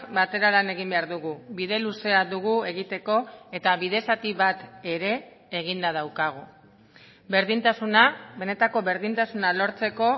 batera lan egin behar dugu bide luzea dugu egiteko eta bide zati bat ere eginda daukagu berdintasuna benetako berdintasuna lortzeko